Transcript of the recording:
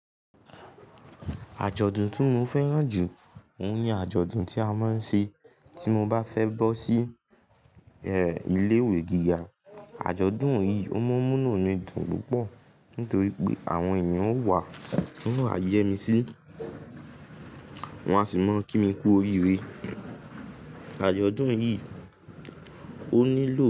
Àjọ̀dún tí mo fẹ́ràn jù, òun ni àjọ̀dún tí a máa ń ṣe tí mo bá fẹ́ bọ́ sí, ilé ìwé gíga. Àjọ̀dún yìí ó máa ń mú'nú mi dùn púpọ̀ nítorí pé àwọn èèyàn ó wàá, wọn ó wá yẹ́ mi sí, wọn a sì máa kí mi kú oríire. Àjọ̀dún yìí ó nílò.